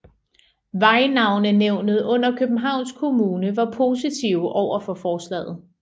Vejnavnenævnet under Københavns Kommune var positive overfor forslaget